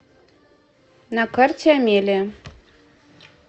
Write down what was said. на карте амелия